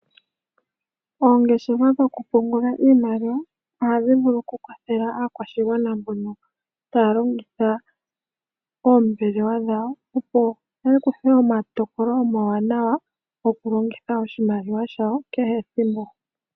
Oongoshefa dhokupungula iimaliwa ohadhi vulu okukwathela aakwashigwana mbono taya longitha oombelewa dhawo, opo yakuthe omatokolo omawanawa gokulongitha oshimaliwa shawo kehethimbo.